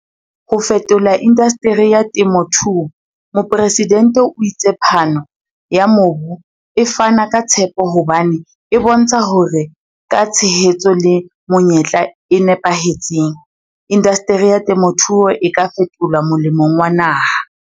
Ho fetola indasteri ya temothuo Mopresidente o itse phano ya mobu e fana ka tshepo hobane e bontsha hore ka tshehetso le menyetla e napahetseng, indasteri ya temothuo e ka fetolwa molemong wa naha.